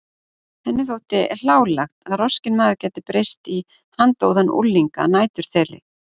Henni þótti hlálegt að roskinn maður gæti breyst í handóðan ungling að næturþeli.